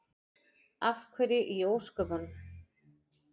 Af hverju í ósköpunum?